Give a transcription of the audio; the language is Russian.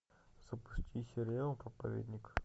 запусти сериал проповедник